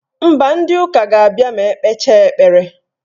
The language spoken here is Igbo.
Mba, ndị ụka ga-abịa ma ekpecha ekpere.